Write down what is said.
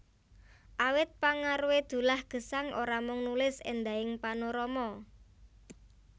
Awit pengaruhé Dullah Gesang ora mung nulis éndahing panorama